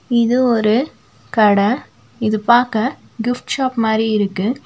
இது ஒரு கட இது பாக்க கிஃப்ட் ஷாப் மாரி இருக்கு.